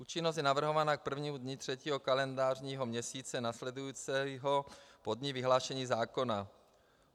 Účinnost je navrhována k prvnímu dni třetího kalendářního měsíce následujícího po dni vyhlášení zákona.